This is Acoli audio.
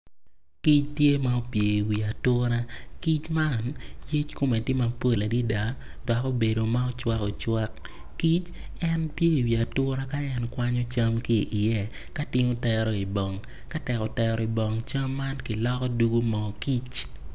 Kic tye ma opye i wi ature kic man yec kome tye mapol adada dok obedo ma ocwakocwak ki opye i wi ature ka en kwanyo cam ki iye.